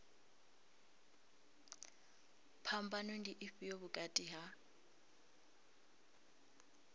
phambano ndi ifhio vhukati ha